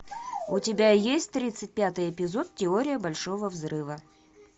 у тебя есть тридцать пятый эпизод теория большого взрыва